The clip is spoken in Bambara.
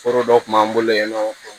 Foro dɔ kun b'an bolo yen nɔ